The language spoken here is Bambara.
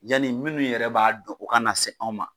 Yani minnu yɛrɛ b'a dɔn o ka na se anw ma.